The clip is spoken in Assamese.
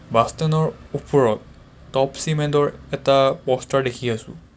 বাছ ষ্টেণ্ড ৰ ওপৰত টপ চিমেণ্ট ৰ এটা প'ষ্টাৰ দেখি আছোঁ.